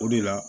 O de la